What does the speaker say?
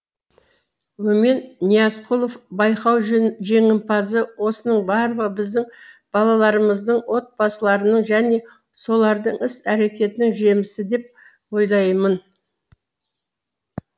өмен ниязқұлов байқау жеңімпазы осының барлығы біздің балаларымыздың отбасыларының және солардың іс әрекетінің жемісі деп ойлаймын